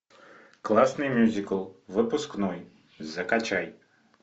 классный мюзикл выпускной закачай